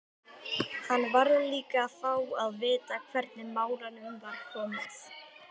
Hann varð líka að fá að vita hvernig málum var komið.